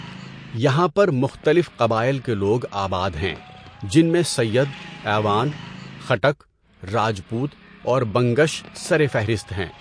یہاں پر مختلف قبائل کے لوگ آباد ہیں جن میں سید، اعوان، خٹک، راجپوت اور بنگش سرفہرست ہیں۔